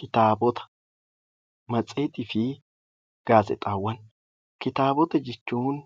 Kitaabota jechuun